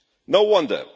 No wonder.